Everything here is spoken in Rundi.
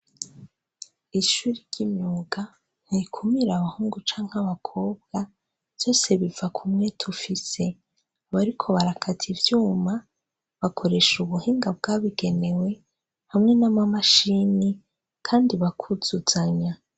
Ishuri ry'imyuga ntirikumira abahungu canke abakobwa vyose biva ku mwete ufise. Abariko barakata ivyuma bakoresha ubuhinga bwabigenewe hamwe n'amamashini kandi bakuzuzanya.